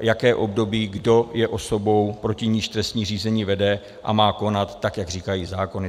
jaké období, kdo je osobou, proti níž trestní řízení vede, a má konat, tak jak říkají zákony.